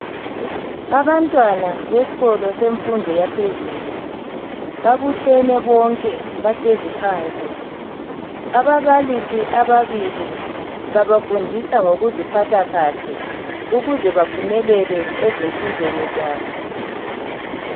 Abantwana besikolo semfundo yaphezulu babuthene bonke bahlezi phansi. Ababalisi ababili babafundisa ngokuziphatha kahle ukuze baphumelele lezimfundweni zabo.